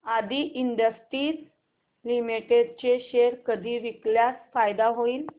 आदी industries limited चे share कधी विकल्यास फायदा होईल